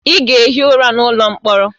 Ị ga-ehi ụra n'ụlọ mkpọrọ!